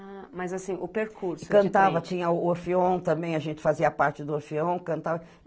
Ah, mas assim, o percurso de frente... Cantava, tinha o orfeom também, a gente fazia parte do orfeom, cantava.